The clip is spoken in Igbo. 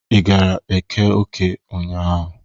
Ị gara Eke Uke ụnyaahụ?